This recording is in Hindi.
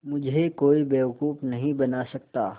मुझे कोई बेवकूफ़ नहीं बना सकता